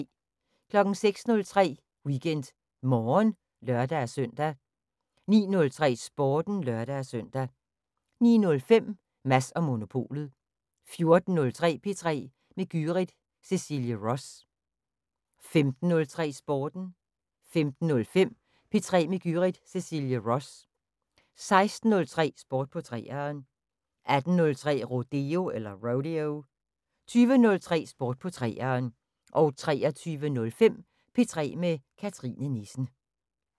06:03: WeekendMorgen (lør-søn) 09:03: Sporten (lør-søn) 09:05: Mads & Monopolet 14:03: P3 med Gyrith Cecilie Ross 15:03: Sporten 15:05: P3 med Gyrith Cecilie Ross 16:03: Sport på 3'eren 18:03: Rodeo 20:03: Sport på 3'eren 23:05: P3 med Cathrine Nissen